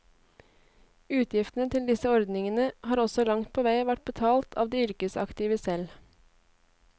Utgiftene til disse ordningene har også langt på vei vært betalt av de yrkesaktive selv.